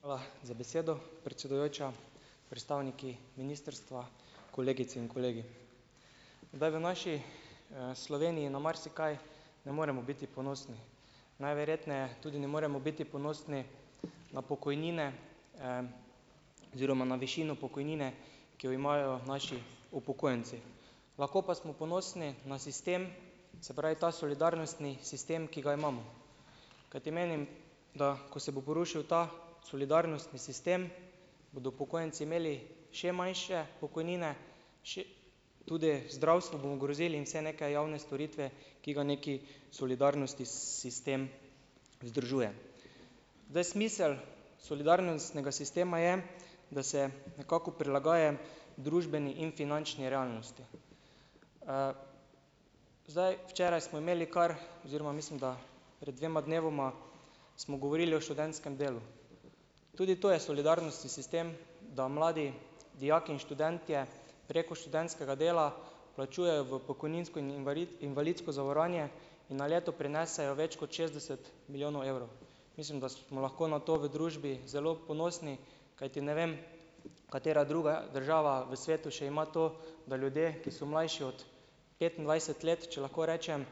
Hvala za besedo, predsedujoča. Predstavniki ministrstva, kolegice in kolegi. Kdaj v naši, Sloveniji na marsikaj ne moremo biti ponosni. Najverjetneje tudi ne moremo biti ponosni na pokojnine oziroma na višino pokojnine, ki jo imajo naši upokojenci. Lahko pa smo ponosni na sistem, se pravi, ta solidarnostni sistem, ki ga imamo. Kajti menim da, ko se bo porušil ta solidarnostni sistem, bodo upokojenci imeli še manjše pokojnine, še tudi zdravstvo bomo ogrozili in vse neke javne storitve, ki ga nekaj solidarnostni sistem združuje. Zdaj smisel solidarnostnega sistema je, da se nekako prilagaja družbeni in finančni realnosti. Zdaj, včeraj smo imeli kar oziroma, mislim da, pred dvema dnevoma smo govorili o študentskem delu. Tudi to je solidarnostni sistem, da mladi dijaki in študentje, preko študentskega dela vplačujejo v pokojninsko in invalidsko zavarovanje in na leto prinesejo več kot šestdeset milijonov evrov. Mislim, da smo lahko na to v družbi zelo ponosni, kajti ne vem, katera druga država v svetu še ima to, da ljudi, ki so mlajši od petindvajset let, če lahko rečem,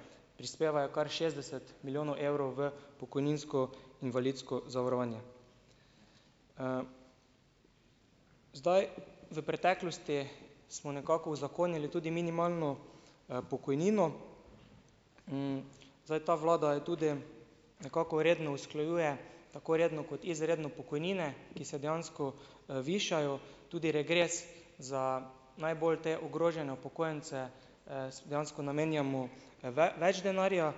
prispevajo kar šestdeset milijonov evrov v pokojninsko-invalidsko zavarovanje. Zdaj, v preteklosti smo nekako uzakonili tudi minimalno, pokojnino. Zdaj, ta vlada je tudi, nekako redno usklajuje, tako redno, kot izredno, pokojnine, ki se dejansko, višajo. Tudi regres za najbolj te ogrožene upokojence, dejansko namenjamo več denarja.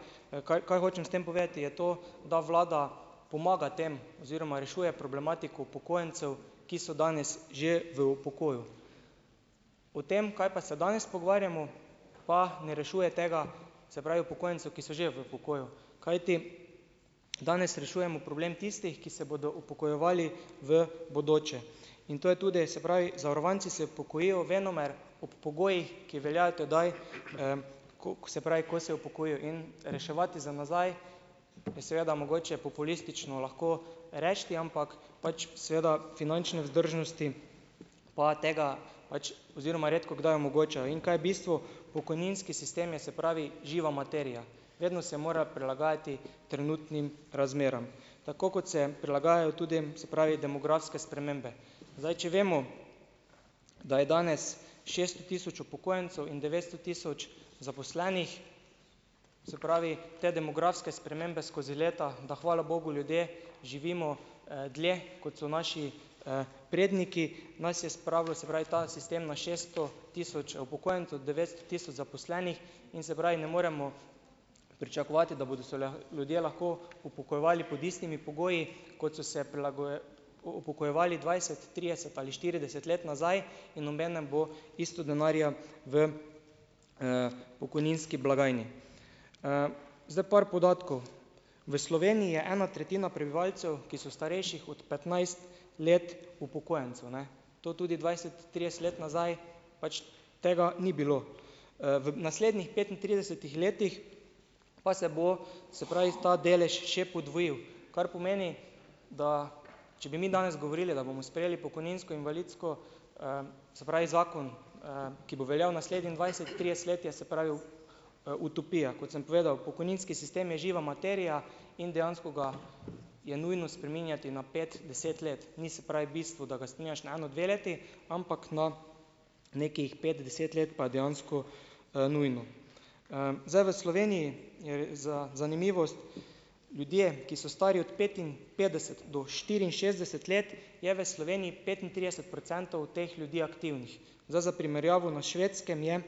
Kaj, kaj hočem s tem povedati, je to, da vlada pomaga tem oziroma rešuje problematiko upokojencev, ki so danes že v pokoju. O tem, kaj pa se danes pogovarjamo, pa ne rešuje tega, se pravi upokojencev, ki so že v pokoju, kajti danes rešujemo problem tistih, ki se bodo upokojevali v bodoče, in to je tudi, se pravi, zavarovanci se upokojijo venomer ob pogojih, ki veljajo tedaj, se pravi, ko se upokojijo in reševati za nazaj, bi seveda mogoče populistično lahko rešili, ampak, pač, seveda, finančne vzdržnosti pa tega pač oziroma redkokdaj omogočajo, in kaj je bistvu, pokojninski sistem je, se pravi, živa materija vedno se mora prilagajati trenutnim razmeram, tako kot se prilagajajo tudi, se pravi, demografske spremembe. Zdaj, če vemo, da je danes šeststo tisoč upokojencev in devetsto tisoč zaposlenih, se pravi, te demografske spremembe skozi leta, da hvala bogu ljudje živimo, dlje, kot so naši, predniki. Nas je spravljal, se pravi, ta sistem na šesto tisoč upokojencev, devetsto tisoč zaposlenih in, se pravi, ne moremo pričakovati, da bodo se ljudje lahko upokojevali pod istimi pogoji, kot so se upokojevali dvajset, trideset ali štirideset let nazaj, in obenem bo isto denarja v, pokojninski blagajni. Zdaj, par podatkov. V Sloveniji je ena tretjina prebivalcev, ki so starejših od petnajst let upokojencev, ne. To tudi dvajset, trideset let nazaj, pač tega ni bilo. V naslednjih petintridesetih letih pa se bo, se pravi, ta delež še podvojil, kar pomeni, da če bi mi danes govorili, da bomo sprejeli pokojninsko invalidsko, se pravi, zakon, ki bo veljal naslednjih dvajset, trideset let, je, se pravi, utopija. Kot sem povedal, pokojninski sistem je živa materija in dejansko ga je nujno spreminjati na pet, deset let. Ni, se pravi, bistvo, da ga spreminjaš na eno, dve leti, ampak na nekaj pet, deset let pa je dejansko, nujno. Zdaj v Sloveniji je za zanimivost, ljudje, ki so stari od petinpetdeset do štiriinšestdeset let, je v Sloveniji petintrideset procentov teh ljudi aktivnih. Zdaj, za primerjavo, na Švedskem je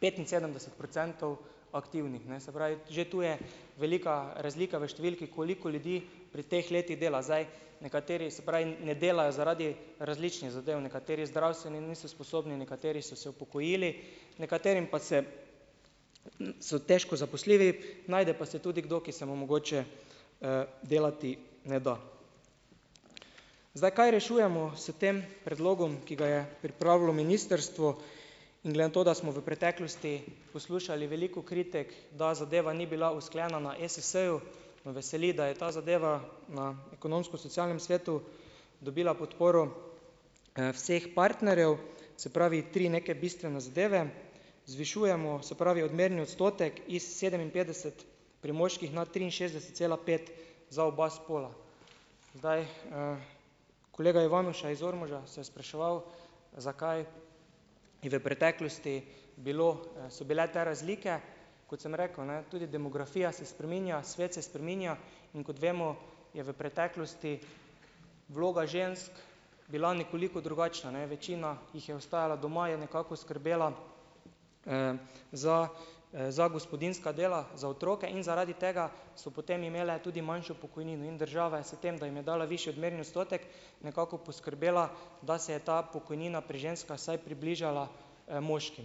petinsedemdeset procentov aktivnih, ne. Se pravi, že tu je velika razlika v številki, koliko ljudi pri teh letih dela, zdaj. Nekateri se pravi ne delajo zaradi različnih zadev, nekateri zdravstveno niso sposobni, nekateri so se upokojili, nekaterim pa se, so težko zaposljivi. Najde pa se tudi kdo, ki se mu mogoče, delati ne da. Zdaj, kaj rešujemo s tem predlogom, ki ga je pripravilo ministrstvo? In glede na to, da smo v preteklosti poslušali veliko kritik, da zadeva ni bila usklajena na ESS-ju me veseli, da je ta zadava na Ekonomsko-socialnem svetu dobila podtporo, vseh partnerjev. Se pravi, tri neke bistvene zadeve. Zvišujemo, se pravi, odmerni odstotek iz sedeminpetdeset pri moških, nato triinšestdeset cela pet za oba spola. Zdaj, kolega Ivanuša iz Ormoža se je spraševal, zakaj v preteklosti bilo so bile te razlike. Kot sem rekel, ne, tudi demografija se spreminja. Svet se spreminja. In kot vemo, je v preteklosti vloga žensk bila nekoliko drugačna, ne. Večina jih je ostajala doma, je nekako skrbela za, za gospodinjska dela, za otroke in zaradi tega so potem imele tudi manjšo pokojnino in država je s tem, da jim je dala višji odmerni odstotek nekako poskrbela, da se je ta pokojnina pri ženskah vsaj približala, moškim.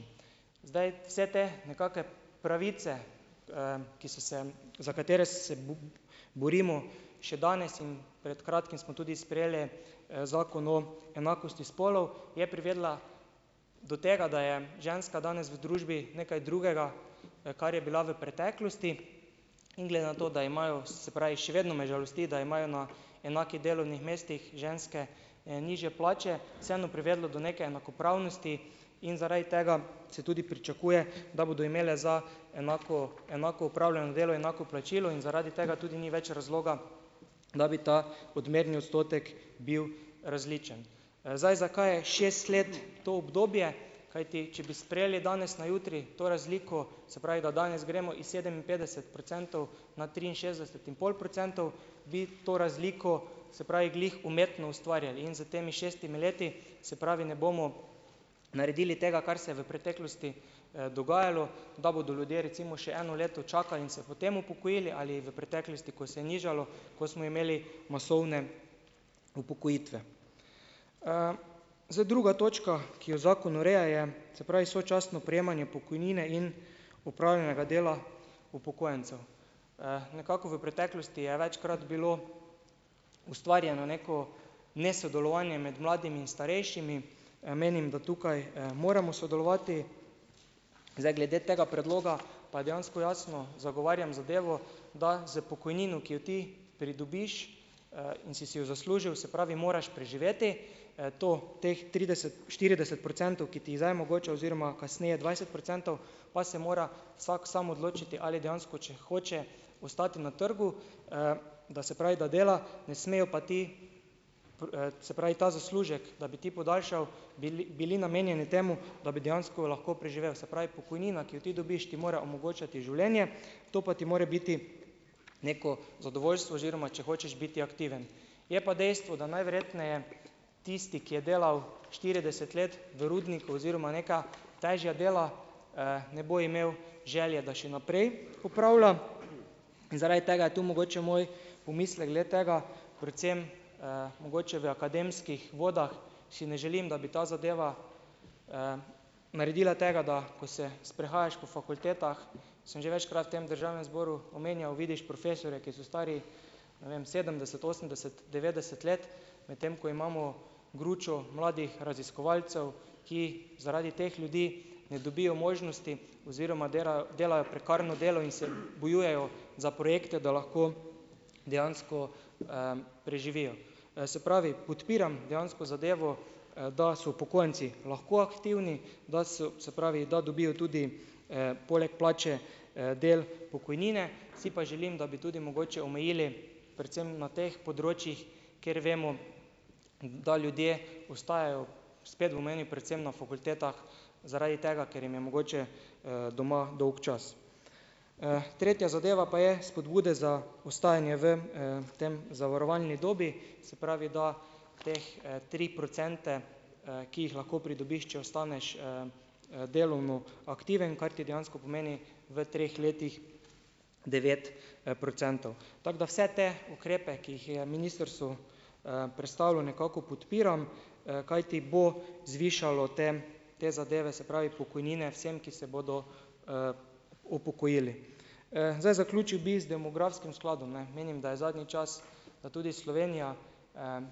Zdaj, vse te nekake pravice, ki so se za katere se borimo še danes in pred kratkim smo tudi sprejeli, zakon o enakosti spolov, je privedla do tega, da je ženska danes v družbi nekaj drugega, kar je bila v preteklosti. In glede na to, da imajo, se pravi, še vedno me žalosti, da imajo na enakih delovnih mestih ženske, nižje plače, vseeno privedlo do neke enakopravnosti in zaradi tega se tudi pričakuje, da bodo imele za enako enako opravljeno delo, enako plačilo. In zaradi tega tudi ni več razloga, da bi ta odmerni odstotek bil različen. Zdaj, zakaj je šest let to obdobje? Kajti če bi sprejeli danes na jutri to razliko, se pravi, da danes gremo iz sedeminpetdeset procentov na triinšestdeset in pol procentov bi to razliko, se pravi, glih umetno ustvarjali. In s temi šestimi leti, se pravi, ne bomo naredili tega, kar se je v preteklosti, dogajalo, da bodo ljudje, recimo, še eno leto čakali in se potem upokojili ali v preteklosti, ko se je nižalo, ko smo imeli masovne upokojitve. Zdaj, druga točka, ki jo zakon ureja, je, se pravi, sočasno prejemanje pokojnine in opravljenega dela upokojencev, Nekako v preteklosti je večkrat bilo ustvarjeno neko nesodelovanje med mladimi in starejšimi. Menim, da tukaj, moramo sodelovati. Zdaj, glede tega predloga pa je dejansko jasno, zagovarjam zadevo, da z pokojnino, ki jo ti pridobiš, in si si jo zaslužil, se pravi, moraš preživeti. To teh trideset, štirideset procentov, ki ti jih zdaj mogoče oziroma kasneje dvajset procentov, pa se mora vsak sam odločiti, ali dejansko če hoče ostati na trgu, da, se pravi, da dela, ne smejo pa ti, se pravi, zaslužek, da bi ti podaljšal, bili bili namenjeni temu, da bi dejansko lahko preživel. Se pravi, pokojnina, ki jo ti dobiš, ti mora omogočati življenje. To pa ti more biti neko zadovoljstvo, oziroma če hočeš biti aktiven. Je pa dejstvo, da najverjetneje tisti, ki je delal štirideset let v rudniku oziroma neka težja dela, ne bo imel želje, da še naprej opravlja in zaradi tega je tu mogoče moj pomislek glede tega predvsem, mogoče v akademskih vodah, si ne želim, da bi ta zadeva naredila tega, da ko se sprehajaš po fakultetah, sem že večkrat v tem državnem zboru omenjal, vidiš profesorje, ki so stari, ne vem sedemdeset, osemdeset, devetdeset let. Medtem ko imamo gručo mladih raziskovalcev, ki zaradi teh ljudi ne dobijo možnosti oziroma derajo, delajo prekarno delo in se bojujejo za projekte, da lahko dejansko, preživijo. Se pravi, podpiram dejansko zadevo, da so upokojenci lahko aktivni, da so, se pravi, da dobijo tudi, poleg plače, del pokojnine, si pa želim, da bi tudi mogoče omejili predvsem na teh področjih, kjer vemo, da ljudje ostajajo, spet bom omenil, predvsem na fakultetah zaradi tega, ker jim je mogoče, doma dolgčas. Tretja zadeva pa je spodbude za ostajanje v, tej zavarovalni dobi, se pravi, da teh tri procente, ki jih lahko pridobiš, če ostaneš, delovno aktiven, kar ti dejansko pomeni v treh letih devet, procentov. Tako da vse te ukrepe, ki jih je ministrstvo, predstavilo, nekako podpiram, kajti bo zvišalo te, te zadeve, se pravi pokojnine vsem, ki se bodo upokojili. Zdaj, zaključil bi z demografskim skladom, ne. Menim, da je zadnji čas, da tudi Slovenija,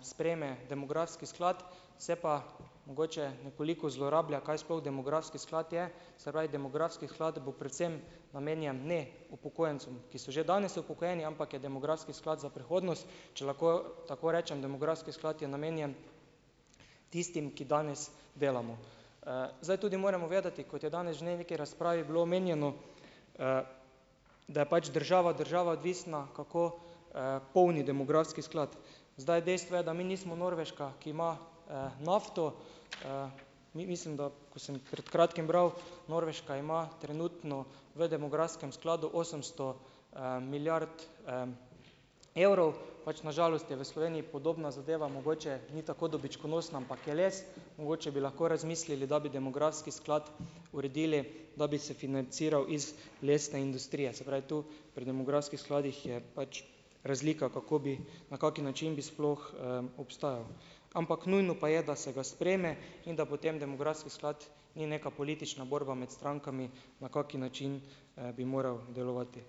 sprejme demografski sklad. Se pa mogoče nekoliko zlorablja, kaj sploh demografski sklad je. Se pravi demografski sklad bo predvsem namenjen ne upokojencem, ki so že danes upokojeni, ampak je demografski sklad za prihodnost, če lahko tako rečem. Demografski sklad je namenjen tistim, ki danes delamo. Zdaj tudi moramo vedeti, kot je danes že neki razpravi bilo omenjeno, da je pač država od države odvisna, kako, polni demografski sklad. Zdaj, dejstvo je, da mi nismo Norveška, ki ima, nafto. Mi, mislim, da ko sem pred kratkim bral, Norveška ima trenutno v demografskem skladu osemsto, milijard, evrov. Pač na žalost je v Sloveniji podobna zadeva, mogoče ni tako dobičkonosna, ampak je les. Mogoče bi lahko razmislili, da bi demografski sklad uredili, da bi se financiral iz lesne industrije. Se pravi, tu pri demografskih skladih je pač razlika, kako bi, na kak način bi sploh, obstajal. Ampak nujno pa je, da se ga sprejme in da potem demografski sklad ni neka politična borba imeti strankami, na kak način, bi moral delovati.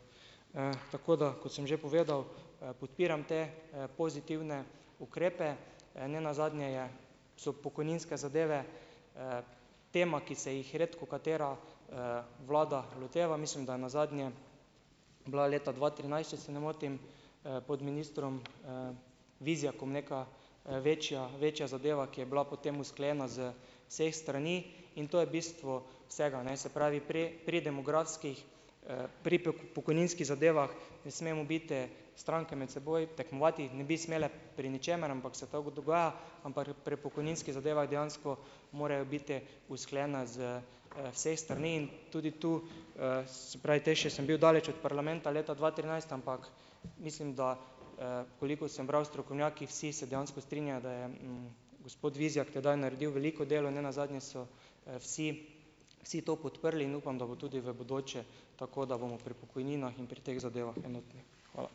Tako da, kot sem že povedal, podpiram te pozitivne ukrepe. Ne nazadnje je so pokojninske zadeve, tema, ki se jih redkokatera, vlada loteva. Mislim, da je nazadnje bila leta dva trinajst, če se ne motim, pod ministrom, Vizjakom neka, večja večja zadeva, ki je bila potem usklajena z vseh strani. In to je bistvo vsega, ne, se pravi, pri pri demografskih, pri pokojninskih zadevah ne smemo biti, stranke med seboj tekmovati, ne bi smele pri ničemer, ampak se tako dogaja, ampak pri pokojninskih zadevah dejansko morajo biti usklajena z, vseh strani. In tudi tu, se pravi, tej še sem bil daleč ot parlamenta leta dva trinajst ampak mislim, da, koliko sem bral, strokovnjaki, vsi se dejansko strinjajo, da je, gospod Vizjak tedaj naredil veliko delo. Ne nazadnje so, vsi vsi to podprli in upam, da bo tudi v bodoče tako, da bomo pri pokojninah in pri teh zadevah enotni. Hvala.